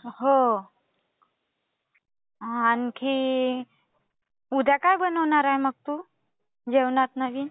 हो. आणखी. उद्या काय बनवणार आहे तू मग जेवणात नवीन?